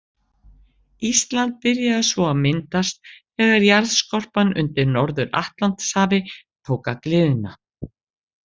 Ísland byrjaði svo að myndast þegar jarðskorpan undir Norður-Atlantshafi tók að gliðna.